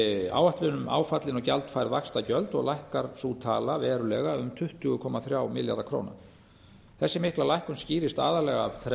áætlun um áfallin og gjaldfærð vaxtagjöld og lækkar sú tala verulega um tuttugu komma þrjá milljarða króna þessi mikla lækkun skýrist aðallega af